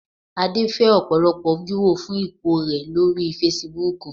Adé fẹ́ ọ̀pọ̀lọpọ̀ wíwò fún ipò rẹ̀ lórí Fasibúùkù